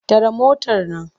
Tare motar nan!